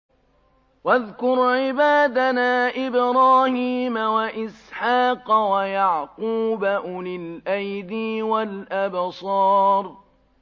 وَاذْكُرْ عِبَادَنَا إِبْرَاهِيمَ وَإِسْحَاقَ وَيَعْقُوبَ أُولِي الْأَيْدِي وَالْأَبْصَارِ